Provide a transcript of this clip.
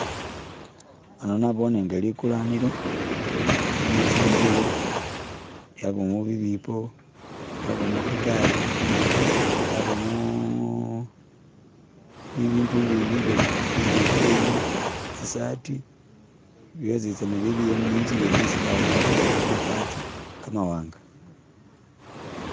Ano nabone nga likulanilo lilimo tsi'ngubo yabamo bibipo, yabamo khagali yabamo bibindu ibindi nga biteteyi, tsi'sati bysositsana bili awo ni'nzu yene isi bakhupakho kamabati kamawanga.